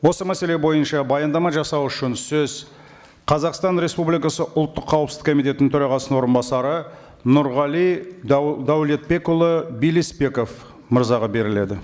осы мәселе бойынша баяндама жасау үшін сөз қазақстан республикасы ұлттық қауіпсіздік комитетінің төрағасының орынбасары нұрғали дәулетбекұлы білісбеков мырзаға беріледі